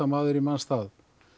maður í manns stað